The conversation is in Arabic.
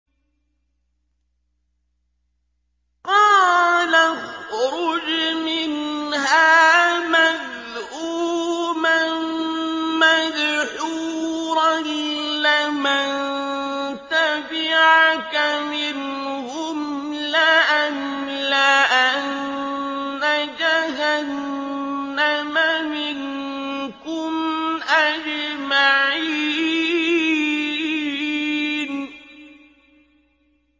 قَالَ اخْرُجْ مِنْهَا مَذْءُومًا مَّدْحُورًا ۖ لَّمَن تَبِعَكَ مِنْهُمْ لَأَمْلَأَنَّ جَهَنَّمَ مِنكُمْ أَجْمَعِينَ